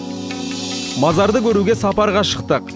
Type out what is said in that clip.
мазарды көруге сапарға шықтық